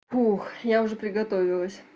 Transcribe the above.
ух я уже приготовилась